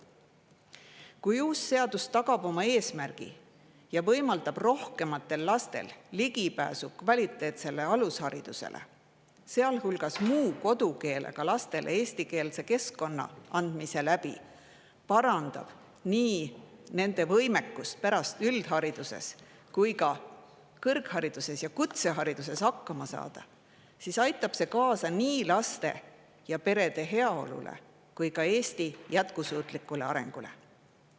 Kui uus seadus oma eesmärgi ja võimaldab rohkematele lastele ligipääsu kvaliteetsele alusharidusele, sealhulgas muu kodukeelega lastele ligipääsu eestikeelsele keskkonnale, parandades nende võimekust hakkama saada nii üldhariduses kui ka kõrg- ja kutsehariduses, siis aitab see kaasa nii laste ja perede heaolule kui ka Eesti jätkusuutlikule arengule.